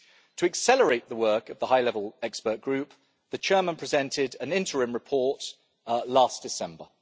To accelerate the work of the high level expert group, the chairman presented an interim report last December.